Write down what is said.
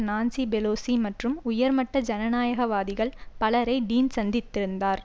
Nancy Pelosi மற்றும் உயர்மட்ட ஜனநாயகவாதிகள் பலரை டீன் சந்தித்திருந்தார்